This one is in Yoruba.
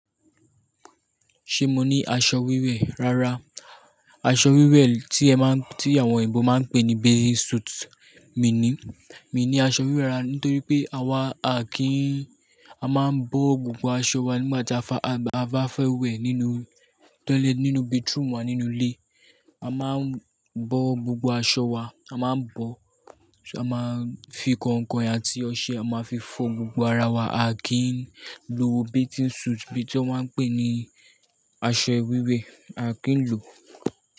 Ṣé mo ní aṣọ wíwẹ̀? Rárá, aṣọ wíwẹ̀ tí ẹ máa ń, tí àwọn òyìnbó máa ń pè ní bathing suit, mi ni, mi ní aṣọ wíwẹ̀ rárá nítorí pé àwa à kí ń, a máa ń bọ́ gbogbo aṣọ wa nígbà tí a fa, a bá fẹ́ wẹ̀ nínú tólẹ̀, nínú bathroom wa nínú ilé. A máa ń bọ́ gbogbo aṣọ wa, a máa ń bọ́, a máa ń fi kọ̀nkọ̀ àti ọṣẹ, a máa fi fọ gbogbo ara wa, a kì ń lo bathing suit bí i tí wọ́n pé ni aṣọ wíwẹ̀, a kì ń lò.